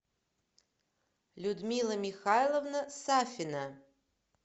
людмила михайловна сафина